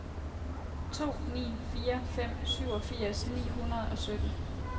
to ni fire fem syvogfirs ni hundrede og sytten